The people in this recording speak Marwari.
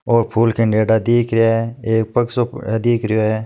और फूल खिंडेडा दिख रया है और पग सो दिख रयो है।